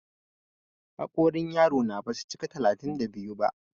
Haƙorin yaro na ba su cika talatin da biyu ba.